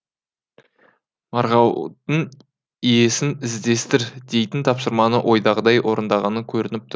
марғаудың иесін іздестір дейтін тапсырманы ойдағыдай орындағаны көрініпті